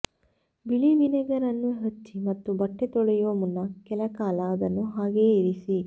ಬಿಳಿ ವಿನೆಗರ್ ಅನ್ನು ಹಚ್ಚಿ ಮತ್ತು ಬಟ್ಟೆ ತೊಳೆಯುವ ಮುನ್ನ ಕೆಲಕಾಲ ಅದನ್ನು ಹಾಗೆಯೇ ಇರಿಸಿ